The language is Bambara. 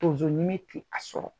a sɔrɔ.